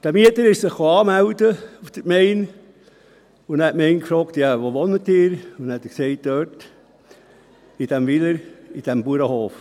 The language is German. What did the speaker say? Dieser Mieter kam auf die Gemeindeverwaltung, um sich anzumelden, und dann fragte die Gemeinde: «Ja, wo wohnen Sie?», und der Mieter sagte: «Dort, in diesem Weiler, auf diesem Bauernhof.